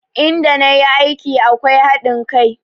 In da na yi aiki akwai haɗin kai